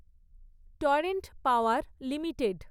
torrent Power limited